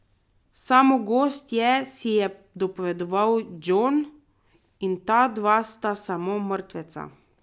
Samo gozd je, si je dopovedoval Jon, in ta dva sta samo mrtveca.